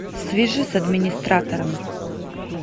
свяжи с администратором